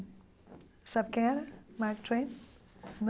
Sabe quem era Mark Twain?